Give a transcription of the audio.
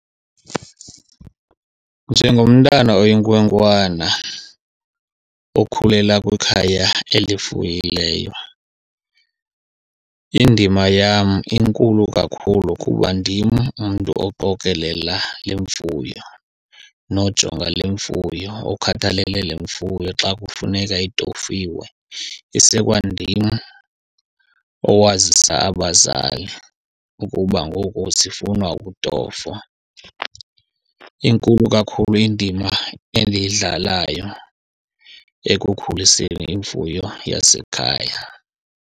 Njengomntana oyinkwenkwana okhulela kwikhaya elifuyileyo, indima yam inkulu kakhulu kuba ndim umntu oqokelela le mfuyo nojonga le mfuyo, okhathalele le mfuyo xa kufuneka itofiwe. Isekwandim owazisa abazali ukuba ngoku zifuna ukutofwa. Inkulu kakhulu indima endiyidlalayo ekukhuliseni imfuyo yasekhaya.